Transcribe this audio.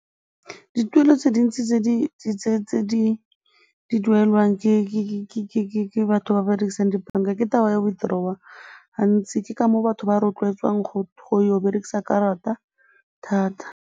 Dituelo tse dintsi tse di duelwang ke batho ba ba dirisang dibanka ke taba ya withdrawal gantsi, ke ka moo batho ba rotloetswang go ya go berekisa karata thata.